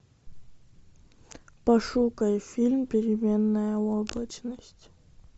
пошукай фильм переменная облачность